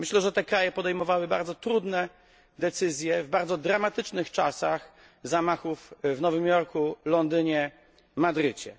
Myślę, że te kraje podejmowały bardzo trudne decyzje w bardzo dramatycznych czasach zamachów w Nowym Jorku, w Londynie, w Madrycie.